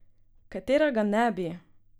Katera ga ne bi?